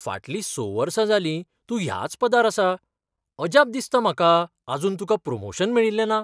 फाटलीं स वर्सां जालीं तूं ह्याच पदार आसा. अजाप दिसता म्हाका आजून तुका प्रमोशन मेळिल्लें ना.